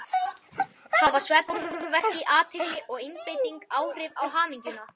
Hafa svefn, árvekni, athygli og einbeiting áhrif á hamingjuna?